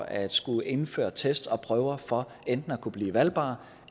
at skulle indføre test og prøver for enten at kunne blive valgbar